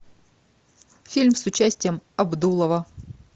фильм с участием абдулова